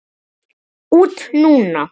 Út núna?